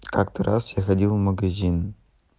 как-то раз я ходил в магазин